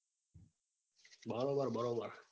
બરોબર બરોબર